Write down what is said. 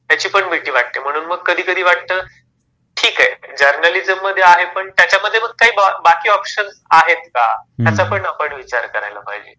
त्याची पण भीती वाटते. म्हणून मग कधी कधी वाटत ठीक आहे जर्नालिझम मध्ये आहे पण त्याच्या मध्ये पण काही बाकी ऑपशन्स आहेत का? हम्म हम्म याचा पण आपण विचार करायला पाहिजे